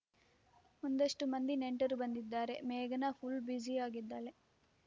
ಒಂದಷ್ಟುಮಂದಿ ನೆಂಟರು ಬಂದಿದ್ದಾರೆ ಮೇಘನಾ ಫುಲ್‌ ಬ್ಯುಸಿಯಾಗಿದ್ದಾಳೆ